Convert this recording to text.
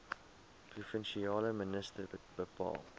provinsiale minister bepaal